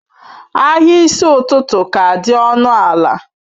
Ahịa n'isi ụtụtụ ka dị ọnụ ala